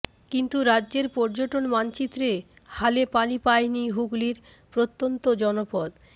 কিন্তু রাজ্যের পর্যটন মানচিত্রে হালে পানি পায়নি হুগলির প্রত্যন্ত জনপদ